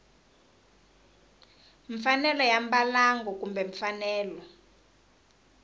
mfanelo ya mbalango kumbe mfanelo